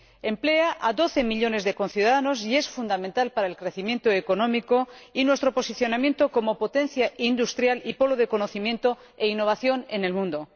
Emplea a doce millones de conciudadanos y es fundamental para el crecimiento económico y para nuestro posicionamiento como potencia industrial y polo de conocimiento e innovación en el mundo.